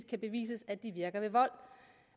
kan bevises at de virker ved vold